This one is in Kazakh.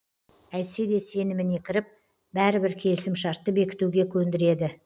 әйтсе де сеніміне кіріп бәрібір келісімшартты бекітуге көндіреді